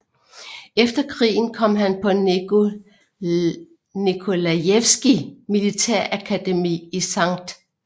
Efter krigen kom han på Nikolajevskij militærakademiet i St